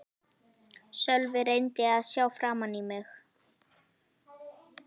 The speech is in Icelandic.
Sölvi reyndi að sjá framan í mig.